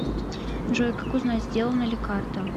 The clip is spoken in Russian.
джой как узнать сделана ли карта